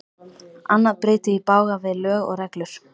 Annað bryti í bága við lög og reglur.